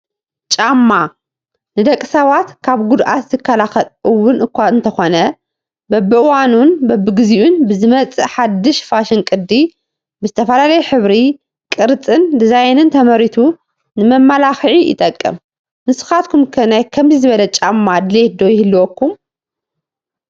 ጫማ፡- ንደቂ ሰባት ካብ ጉድኣት ዝከላኸል እውን እኳ እንተኾነ በብዋኑን በቢጊዜኡን ብዝመፅእ ሓዱሽ ፋሽን ቅዲ ብዝተፈላለየ ሕብሪ፣ ቅርፂን ዲዛይንን ተመሪቱ ንመመላኽዒ ይጠቅም ፡፡ ንስኻትኩም ከ ናይ ከምዚ ዝበለ ጫማ ድሌት ዶ ይህልወኩም?